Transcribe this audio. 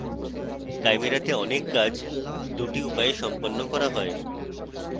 chimera তে অনেক কাজ দুটি উপায়ে সম্পন্ন করা হয়